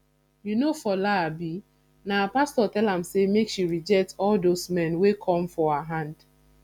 you know fola abi na her pastor tell am make she reject all doz men wey come for her hand